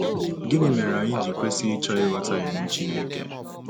Gịnị mere anyị ji kwesị ịchọ ịghọta iwu Chineke?